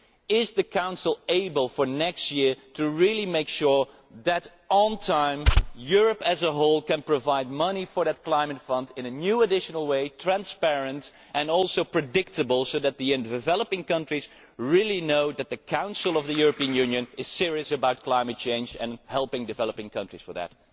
Is the Council able, for next year, to really make sure that, on time, Europe as a whole can provide money for that Climate Fund in a new additional way that is transparent and also predictable, so that the developing countries really know that the Council of the European Union is serious about climate change and helping developing countries in that?